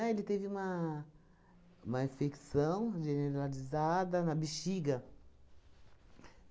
Ah, ele teve uma uma infecção generalizada na bexiga.